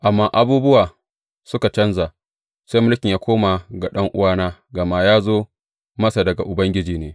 Amma abubuwa suka canja, sai mulkin ya koma ga ɗan’uwana; gama ya zo masa daga Ubangiji ne.